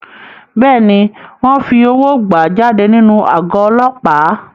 Bẹ́ẹ̀ni, wọ́n fi owó gbà á jáde nínú àgọ́ Ọlọ́pàá.